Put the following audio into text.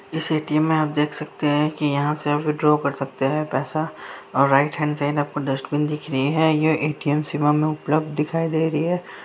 इस ए.टी.एम. में आप देख सकते हैं की यहाँ से आप विथड्रॉ कर सकते हैं पैसा और राईट हैण्ड साइड आप को डस्टबिन दिख रही है यह ए.टी.एम. सेवा में उपलब्ध दिखाई दे रही है।